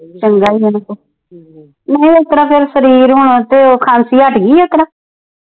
ਨਾਲੇ ਇਸਤਰਾਂ ਫਿਰ ਸਰੀਰ ਹੁਣ ਤੇ ਉਹ ਖਾਸੀ ਹਟ ਗਈ ਆ ਉਸਤਰਾ